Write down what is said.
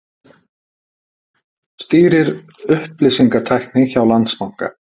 Stýrir upplýsingatækni hjá Landsbanka